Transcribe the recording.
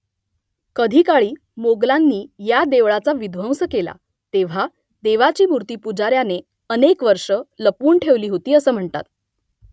कधीकाळी मोगलांनी या देवळाचा विध्वंस केला तेव्हा देवीची मूर्ती पुजाऱ्याने अनेक वर्षं लपवून ठेवली होती असं म्हणतात